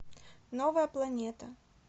новая планета